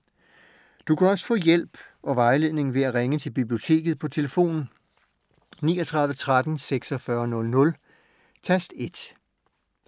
Du kan også få hjælp og vejledning ved at ringe til Biblioteket på tlf. 39 13 46 00, tast 1.